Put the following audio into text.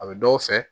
A bɛ dɔw fɛ